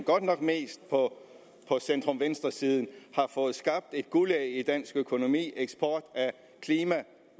godt nok mest på centrum venstre siden har fået skabt et guldæg i dansk økonomi nemlig eksport af klima